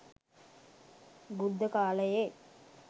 බුද්ධ කාලයේ